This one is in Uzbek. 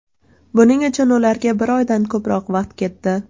Buning uchun ularga bir oydan ko‘proq vaqt ketdi.